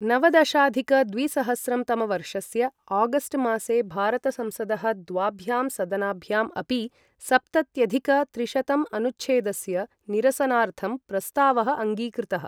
नवदशाधिक द्विसहस्रं तमवर्षस्य आगस्ट् मासे भारतसंसदः द्वाभ्यां सदनाभ्यां अपि, सप्तत्यधिक त्रिशतंअनुच्छेदस्य निरसनार्थं प्रस्तावः अङ्गीकृतः।